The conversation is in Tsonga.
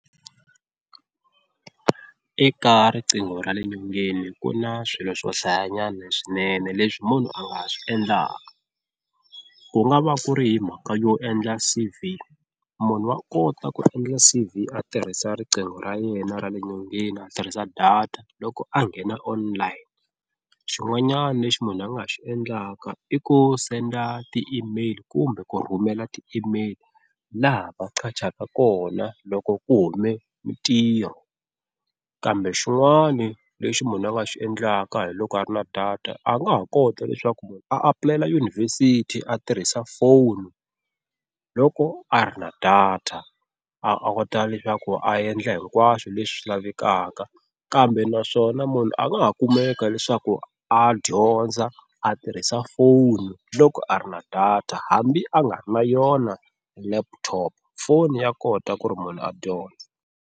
Eka riqingho ra le nyongeni ku na swilo swo hlayanyana swinene leswi munhu a nga swi endlaka. Ku nga va ku ri hi mhaka yo endla C_V, munhu wa kota ku endla C_V a tirhisa riqingho ra yena ra le nyongeni a tirhisa data loko a nghena online. Xin'wanyana lexi munhu a nga xi endlaka i ku senda ti-email kumbe ku rhumela ti-email laha va qhachaka kona loko ku hume mintirho. Kambe xin'wana lexi munhu a nga xi endlaka hi loko a ri na data a nga ha kota leswaku munhu a apulayela yunivhesiti a tirhisa phone loko a ri na data a kota leswaku a endla hinkwaswo leswi lavekaka, kambe naswona munhu a nga ha kumeka leswaku a dyondza a tirhisa foni loko a ri na data hambi a nga ri na yona laptop phone ya kota ku ri munhu a dyondza.